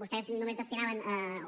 vostès només destinaven